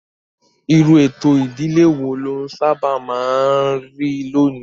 Irú ètò ìdílé wo ló sábà máa ń rí lónìí?